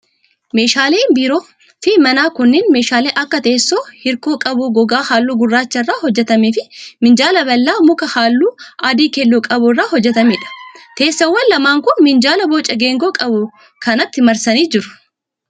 Meeshaaleen biiroo fi manaa kunneen ,meeshaalee akka: teessoo hirkoo qabu gogaa haalluu gurraacha irraa hojjatamee fi minjaala bal'aa muka haalluu adii keelloo qabu irraa hojjatamee dha. Teessoowwan lamaan kun, minjaala boca geengoo qabu kanatti marsanii jiru.